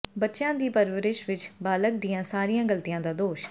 ਬੱਚਿਆਂ ਦੀ ਪਰਵਰਿਸ਼ ਵਿਚ ਬਾਲਗ਼ ਦੀਆਂ ਸਾਰੀਆਂ ਗਲਤੀਆਂ ਦਾ ਦੋਸ਼